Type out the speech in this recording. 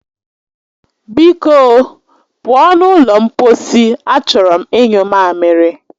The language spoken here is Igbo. Biko o, pụọ n'ụlọ mposi, achọrọ m inyu mamiri